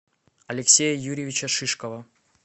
алексея юрьевича шишкова